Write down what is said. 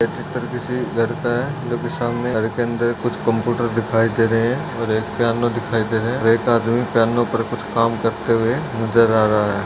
यह चित्र घर का है जो कि सामने घर के अंदर कुछ कंप्यूटर दिखाई दे रहें हैं और एक पियानो दिखाई दे रहा है और एक आदमी पियानो पर कुछ काम करते हुए नज़र आ रहा है।